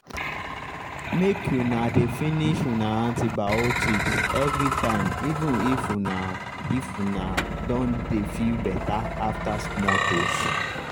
make una dey finish una antibiotics everytime even if una if una don dey feel better after small dose